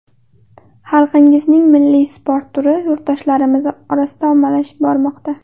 Xalqingizning milliy sport turi yurtdoshlarimiz orasida ommalashib bormoqda.